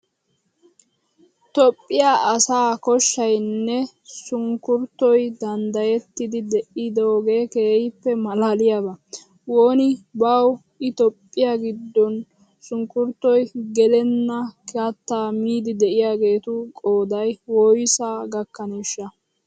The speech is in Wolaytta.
Toophphiya asaa koshshaynne sunkkuruutoy danddayettidi de'idoogee keehippe maalaaliyaba. Woni bawu i Toophphiya giddon sunkkuruutoy gelenna kattaa miidi de'iyageetu qooday woysaa gakkaneeshsha!